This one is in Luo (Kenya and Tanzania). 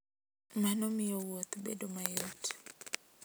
Mano miyo wuoth bedo mayot.